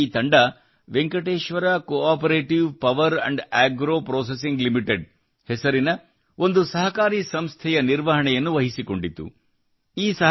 ನಂತರ ಅವರ ಈ ತಂಡವು Venkateshwara cooperative power agro processing limited ಹೆಸರಿನ ಒಂದು ಸಹಕಾರಿ ಸಂಸ್ಥೆಯ ನಿರ್ವಹಣೆಯನ್ನು ವಹಿಸಿಕೊಂಡಿತು